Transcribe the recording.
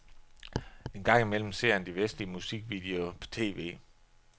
Engang imellem ser han de vestlige musikvideoer på tv.